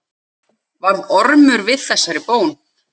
Varð Ormur við þessari bón.